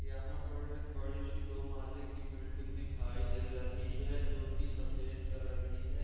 यहाँ पर एक बड़ी-सी दो माहले की बिल्डिंग दिखाई दे रही है जो की सफ़ेद कलर की है।